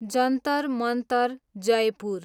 Jantar Mantar, Jaipur